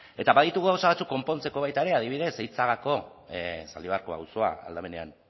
eta baditugu gauza batzuk konpontzeko baita ere adibidez eitzagako zaldibarreko auzoa aldamenean